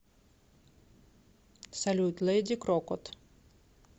салют лэди крокот